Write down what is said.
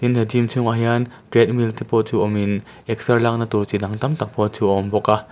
he gym chhungah hian treadmill te pawh chu awm in excer lakna tur chi dang tam tak pawh chu a awm bawk a.